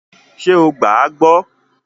Ṣé o gbàá gbọ́?